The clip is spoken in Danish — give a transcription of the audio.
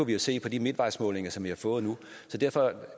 vi jo se på de midtvejsmålinger som vi har fået nu så derfor